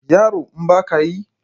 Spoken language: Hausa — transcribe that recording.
Yaro in ba ka yi?